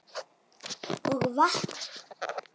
Og vatn.